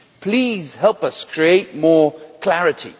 please help us create more clarity